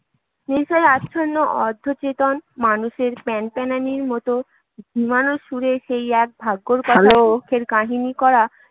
নেশায় আচ্ছন্ন অর্ধচেতন মানুষের প্যানপ্যানানির মতো ঝিমানো সুরে সেই এক ভাগ্যের কথা, দুঃখের কাহিনী করা